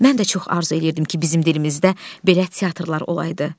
Mən də çox arzu eləyirdim ki, bizim dilimizdə belə teatrlar olaydı.